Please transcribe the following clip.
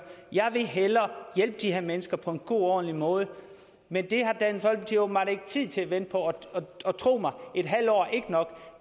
jeg vil hellere hjælpe de her mennesker på en god og ordentlig måde men det har dansk folkeparti åbenbart ikke tid til at vente på og tro mig et halvt år er ikke nok